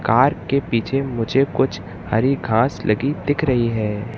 Car के पीछे मुझे कुछ हरी घास लगी दिख रही है।